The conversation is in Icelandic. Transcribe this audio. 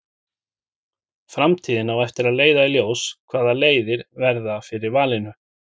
Framtíðin á eftir að leiða í ljós hvaða leiðir verða fyrir valinu.